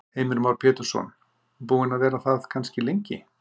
Heimir Már Pétursson: Búin að vera það kannski lengi?